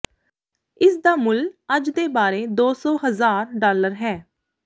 ਇਸ ਦਾ ਮੁੱਲ ਅੱਜ ਦੇ ਬਾਰੇ ਦੋ ਸੌ ਹਜ਼ਾਰ ਡਾਲਰ ਹੈ